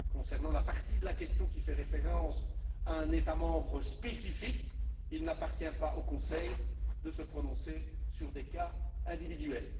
Concernant la partie de la question qui fait référence à un État membre spécifique, il n'appartient pas au Conseil de se prononcer sur des cas individuels.